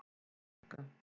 Lukka